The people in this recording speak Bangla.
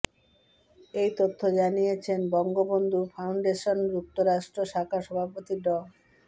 এই তথ্য জানিয়েছেন বঙ্গবন্ধু ফাউন্ডেশন যুক্তরাষ্ট্র শাখার সভাপতি ড